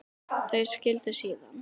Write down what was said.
Þau skildu síðan.